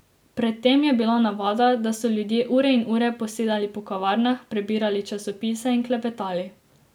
Pred tem je bila navada, da so ljudje ure in ure posedali po kavarnah, prebirali časopise in klepetali.